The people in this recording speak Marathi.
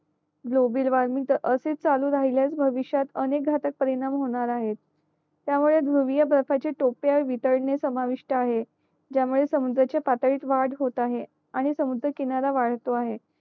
ग्लोबल वॉर्मिंग जर असाच चालू राहिला भविष्यात अनेक घटक परिणाम होणार आहे त्या मुळे बर्फाचे टोपिया वितळणे समवितष्ट आहे ज्या मुळे समुधराच्या पातळीत वाढ होत आहे आणि समुधरा किनारा वाढतो आहे